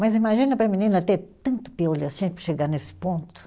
Mas imagina para a menina ter tanto piolho assim para chegar nesse ponto.